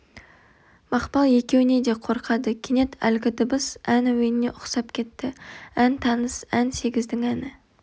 мақпал екеуінен де қорқады кенет әлгі дыбыс ән әуеніне ұқсап кетті ән таныс ән сегіздің әні